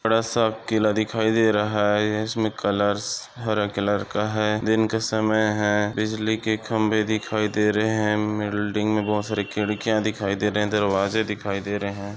बड़ासा किला दिखाई दे रहा है इसमे कलर्स हरे कलर का है दिन के समय है बिजलीके खंबे दिखाई दे रहे है बिल्डिंग मे बहुत सारी खिड्किया दिखाई दे रहे दरवाजे दिखाई दे रहे है।